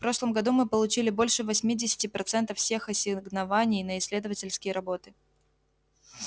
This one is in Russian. в прошлом году мы получили больше восьмидесяти процентов всех ассигнований на исследовательские работы